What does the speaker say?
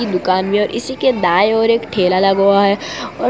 दुकान भी है और इसी के दाएं ओर एक ठेला लगा हुआ है और--